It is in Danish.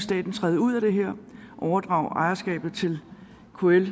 træde ud af det her og overdrage ejerskabet til kl